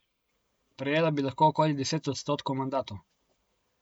Prejela bi lahko okoli deset odstotkov mandatov.